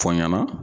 Fɔ n ɲɛna